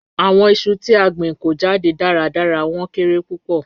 Awọn iṣu ti a gbin ko jade daradara, wọn kere pupọ.